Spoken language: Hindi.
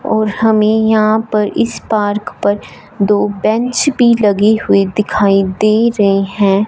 और हमें यहां पर इस पार्क पर दो बैंच भी लगे हुए दिखाई दे रहे हैं।